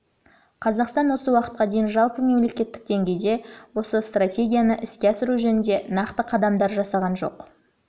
қазақстан осы уақытқа дейін жалпымемлекеттік деңгейде осы стратегияны іске асыру жөнінде нақты қадамдар жасаған жоқ